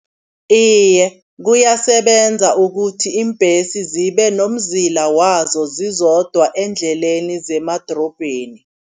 Iye kuyasebenza ukuthi iimbhesi zibe nomzila wazo zizodwa eendleleni zemadorobheni.